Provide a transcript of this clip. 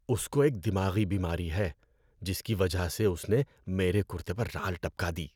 اس کو ایک دماغی بیماری ہے جس کی وجہ سے اس نے میرے کُرتے پر رال ٹپکا دی۔